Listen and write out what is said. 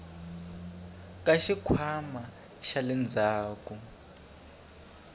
ka xikhwama xa le ndzhaku